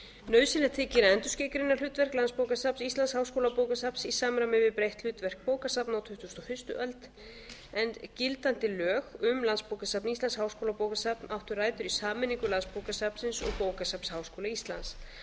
nauðsynlegt þykir að endurskilgreina hlutverk landsbókasafns íslands háskólabókasafns í samræmi við breytt hlutverk bókasafna á tuttugustu og fyrstu öld en gildandi lög um landsbókasafn íslands háskólabókasafn áttu rætur í sameiningu landsbókasafnsins og bókasafns háskóla íslands